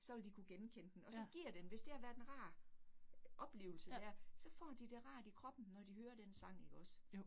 Så vil de kunne genkende den, og så giver den, hvis det har været en rar oplevelse dér, så får de det rart i kroppen, når de hører den sang ikke også